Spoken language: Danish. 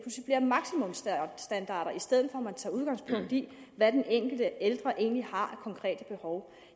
stedet for at man tager udgangspunkt i hvad den enkelte ældre egentlig har af konkrete behov